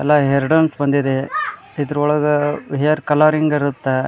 ಎಲ್ಲಾ ಹೇರ್ ಡಾನ್ಸ್ ಬಂದಿದೆ ಇದ್ರೊಳೊಗ್ ಹೇರ್ ಕಲರಿಂಗ್ ಇರುತ್ತೆ .